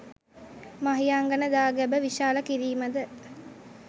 මහියංගණ දාගැබ විශාල කිරීම ද